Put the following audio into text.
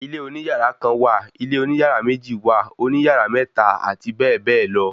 Ilé oní yàrá kan wà, ilé oní yàrá méjì wà, òní yàrá mẹ́ta, àti bẹ́ẹ̀bẹ́ẹ̀ lọ